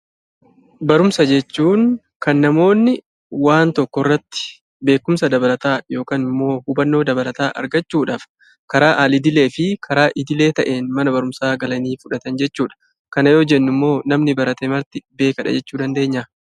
Barumsa jechuun kan namoonni waan tokko irratti beekumsa dabalataa yookiin immoo hubannoo dabalataa argachuudhaaf karaa alidilee fi karaa idilee ta'een mana barumsaa galanii fudhatan jechuudha. Kana yoo jennu immoo namni barate marti beekaadha jechuu dandeenyaa?